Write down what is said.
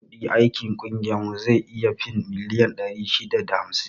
Kiman kudin aikin ƙungiyar mu zai iya fin miliyan ɗari shida da hamsin